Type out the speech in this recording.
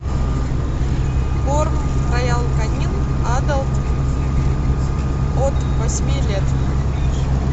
корм роял канин адалт от восьми лет